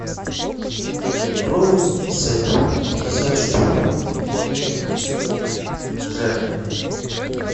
роллы сет на пятьдесят штук жареные